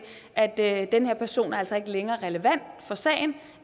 at den her person altså ikke længere er relevant for sagen